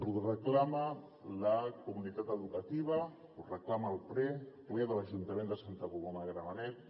ho reclama la comunitat educativa ho reclama el ple el ple de l’ajuntament de santa coloma de gramenet